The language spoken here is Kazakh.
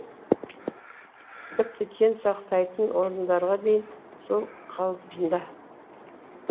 тіпті кен сақтайтын орындарға дейін сол қалпында